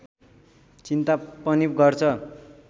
चिन्ता पनि गर्छ